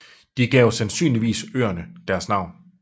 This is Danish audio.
De gav sandsynligvis øerne deres navn